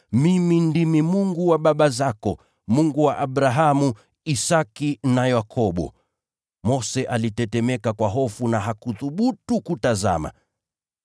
‘Mimi ndimi Mungu wa baba zako, Mungu wa Abrahamu, Isaki na Yakobo.’ Mose alitetemeka kwa hofu na hakuthubutu kutazama.